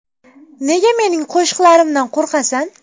Nega mening qo‘shiqlarimdan qo‘rqasan?!